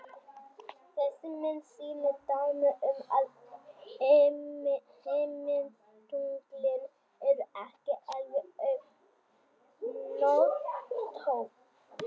Þessi mynd sýnir dæmi um að himintunglin eru ekki alveg öll hnöttótt.